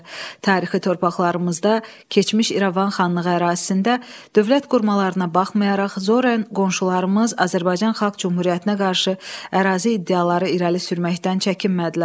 Tarixi torpaqlarımızda, keçmiş İrəvan xanlığı ərazisində dövlət qurmalarına baxmayaraq, Zoren qonşularımız Azərbaycan Xalq Cümhuriyyətinə qarşı ərazi iddiaları irəli sürməkdən çəkinmədilər.